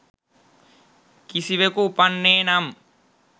කිසිවකු උපන්නේ නම්